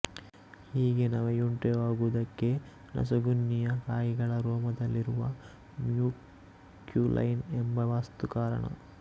ಹೀಗೆ ನವೆಯುಂಟಾಗುವುದಕ್ಕೆ ನಸುಗುನ್ನಿಯ ಕಾಯಿಗಳ ರೋಮದಲ್ಲಿರುವ ಮ್ಯೂಕ್ಯುಲೈನ್ ಎಂಬ ವಸ್ತುಕಾರಣ